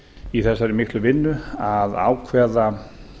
í þessari miklu vinnu að ákveða